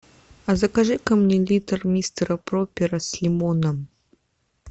закажи ка мне литр мистера пропера с лимоном